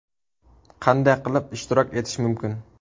Qanday qilib ishtirok etish mumkin?